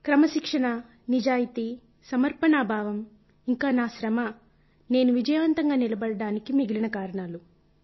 క్రమశిక్షణ నిజాయితీ సమర్పణా భావం ఇంకా నా శ్రమ నేను విజయవంతంగా నిలబడడానికి మిగిలిన కారణాలు